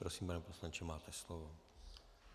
Prosím, pane poslanče, máte slovo.